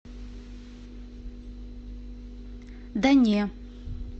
да не